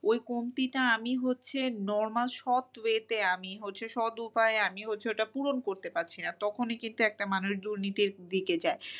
ওই কমতিটা আমি হচ্ছে normal সৎ way তে আমি হচ্ছে সৎ উপায়ে আমি হচ্ছে ওটা পূরণ করতে পারছি না। তখনই কিন্তু একটা মানুষ দুর্নীতির দিকে যায়।